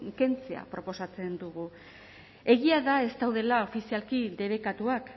kentzea proposatzen dugu egia da ez daudela ofizialki debekatuak